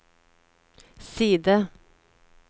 side